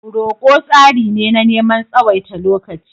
Roko tsari ne na neman tsawaita lokaci.